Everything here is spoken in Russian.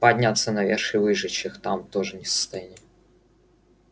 подняться наверх и выжечь их там мы тоже не в состоянии